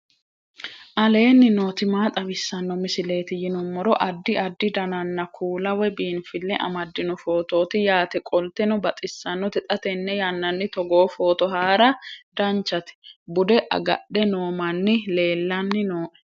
aleenni nooti maa xawisanno misileeti yinummoro addi addi dananna kuula woy biinfille amaddino footooti yaate qoltenno baxissannote xa tenne yannanni togoo footo haara danchate bude agadhe noo manni leellanni nooe